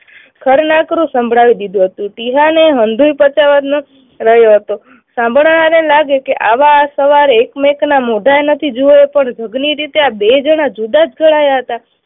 ખરું નકરું સંભળાવી દીધું હતું. ટીહાને હંધુય પતાવાનું રહ્યું હતું. સાંભળવા વાળાને લાગે કે આવા સવારે એકમેક ના મોંઢાય નથી જુવે પણ રીતે આ બે જણા જુદા જ રહ્યા હતા